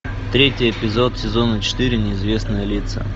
третий эпизод сезона четыре неизвестные лица